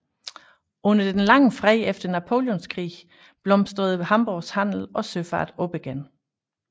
Under den lange fred efter Napoleonskrigene blomstrede Hamborgs handel og søfart op igen